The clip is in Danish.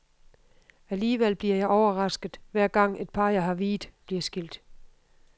Alligevel bliver jeg overrasket, hver gang, et par jeg har viet, bliver skilt.